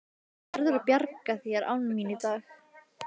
Þú verður að bjarga þér án mín í dag.